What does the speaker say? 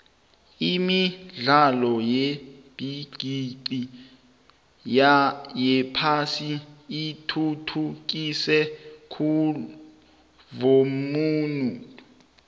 imidlalo yebigixi yephasi ithuthukise khulvumnotho